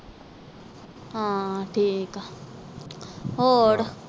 ਹਾਂ ਠੀਕ ਆ ਹੋਰ